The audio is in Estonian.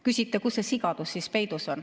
Küsite, kus see sigadus peidus on.